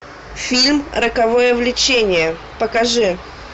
фильм роковое влечение покажи